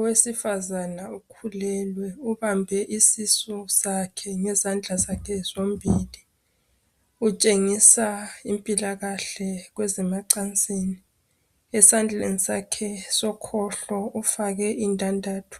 Owesifazana ukhulelwe. Ubambe isisu sakhe ngezandla zakhe zombili. Utshengisa impilakahle kweze macansini. Esandleni sakhe sokhohlo ufake indandatho